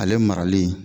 Ale marali